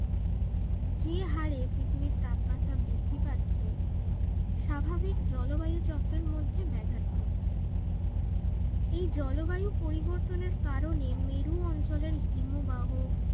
যে হরে পৃথিবীর তাপমাত্রা বৃদ্ধি পাচ্ছে স্বাভাবিক জল বায়ু চক্রের মধ্যে ব্যাঘাত ঘটছে এই জলবায়ু পরিবর্তনের কারণে মরু অঞ্চলের হিমবাহ